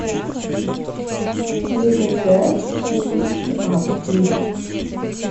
никлбэк ши кипс ми ап клип